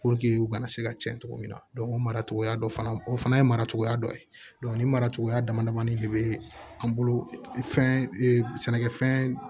u kana se ka tiɲɛ cogo min na o mara cogoya dɔ fana o fana ye mara cogoya dɔ ye ni mara cogoya dama damani de bɛ an bolo fɛnɛnɛfɛn